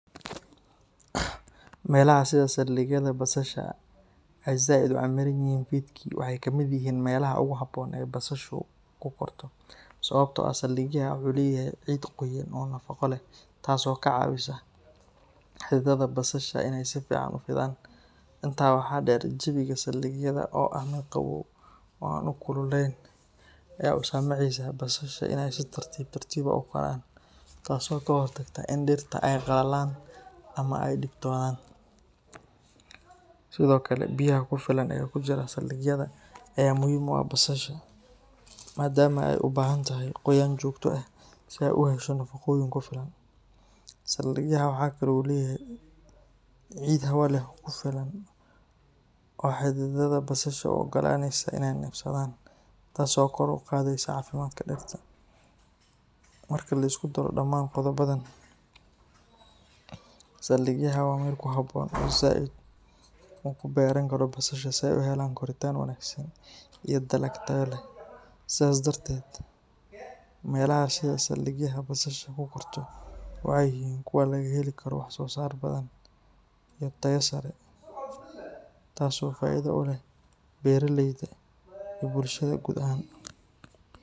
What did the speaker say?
Meelaha sida saldigyaha basasha ay Zaid u camiranyihiin fidki waxay ka mid yihiin meelaha ugu habboon ee basashu ku korto, sababtoo ah saldigyaha wuxuu leeyahay ciid qoyan oo nafaqo leh taas oo ka caawisa xididada basasha inay si fiican u fidaan. Intaa waxaa dheer, jawiga saldigyaha oo ah mid qabow oo aan aad u kululayn ayaa u saamaxaya basasha inay si tartiib tartiib ah u koraan, taasoo ka hortagta in dhirta ay qallalaan ama ay dhibtoodaan. Sidoo kale, biyaha ku filan ee ku jira saldigyaha ayaa muhiim u ah basasha, maadaama ay u baahan tahay qoyaan joogto ah si ay u hesho nafaqooyin ku filan. Saldigyaha waxaa kale oo uu leeyahay ciid leh hawo ku filan oo xididada basasha u oggolaanaysa inay neefsadaan, taas oo kor u qaadaysa caafimaadka dhirta. Marka la isku daro dhammaan qodobbadan, saldigyaha waa meel ku habboon oo Zaid uu ku beeran karo basasha si ay u helaan koritaan wanaagsan iyo dalag tayo leh. Sidaas darteed, meelaha sida saldigyaha basashu ku korto waxay yihiin kuwa laga heli karo wax soo saar badan iyo tayo sare, taas oo faa’iido u leh beeraleyda iyo bulshada guud ahaan.